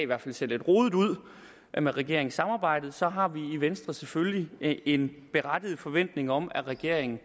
hvert fald ser lidt rodet ud med regeringssamarbejdet så har vi i venstre selvfølgelig en berettiget forventning om at regeringen